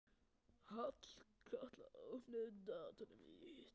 Hallkatla, opnaðu dagatalið mitt.